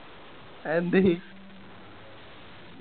Anthony